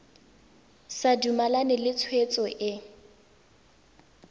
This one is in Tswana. sa dumalane le tshwetso e